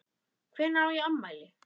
Hvenær á ég afmæli?